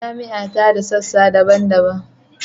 Jami’a ta da sassa daban-daban